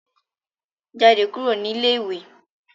Jádẹ̀ kúrù ní ilẹ̀-ìwé.